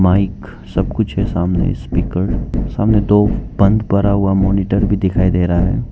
Mic सब कुछ है सामने स्पीकर सामने दो बंद पड़ा हुआ मॉनिटर भी दिखाई दे रहा है।